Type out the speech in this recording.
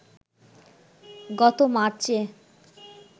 গত মার্চে